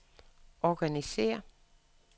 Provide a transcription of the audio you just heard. organisér